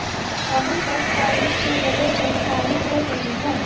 अभी तक फ़ायरिंग की वजह नहीं मालूम हो सकी है